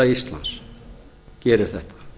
íslands gerir þetta